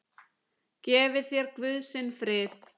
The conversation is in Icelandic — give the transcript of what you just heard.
Gefi þér Guð sinn frið!